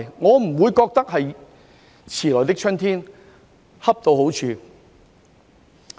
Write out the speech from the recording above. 我不會覺得這是"遲來的春天"，而是恰到好處。